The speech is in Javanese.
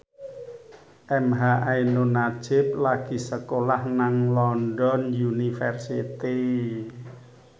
emha ainun nadjib lagi sekolah nang London University